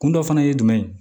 Kun dɔ fana ye jumɛn ye